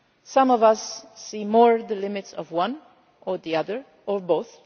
sides. Some of us see more the limits of one or the other or